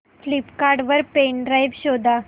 Flipkart वर pen drive शोधा